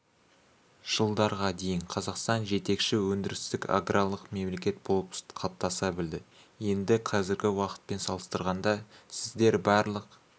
жылдарға дейін қазақстан жетекші өндірістік-аграрлық мемлекет болып қалыптаса білді енді қазіргі уақытпен салыстырғанда сіздер барлық